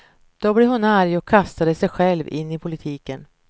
Då blev hon arg och kastade sig själv in i politiken.